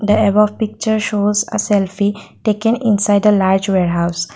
the above picture shows a selfie take an inside the large warehouse.